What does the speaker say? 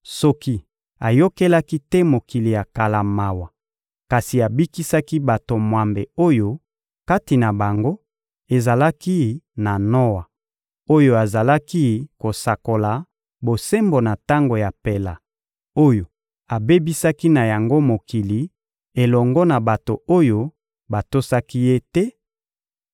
soki ayokelaki te mokili ya kala mawa kasi abikisaki bato mwambe oyo kati na bango ezalaki na Noa oyo azalaki kosakola bosembo na tango ya mpela oyo abebisaki na yango mokili elongo na bato oyo batosaki Ye te,